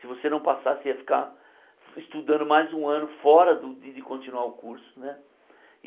Se você não passasse, ia ficar estudando mais um ano fora do de de continuar o curso né.